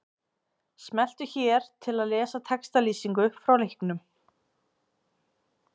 Smelltu hér til að lesa textalýsingu frá leiknum.